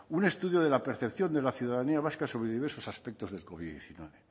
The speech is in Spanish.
un estudio de la percepción de la ciudadanía vasca sobre diversos aspectos del covid